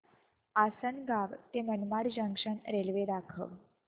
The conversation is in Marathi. आसंनगाव ते मनमाड जंक्शन रेल्वे दाखव